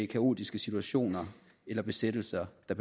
kaotiske situationer eller besættelser der